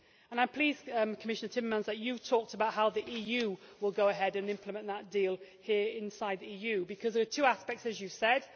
I am pleased, Commissioner Timmermans, that you have talked about how the EU will go ahead and implement that deal here inside the EU because there are two aspects, as you said.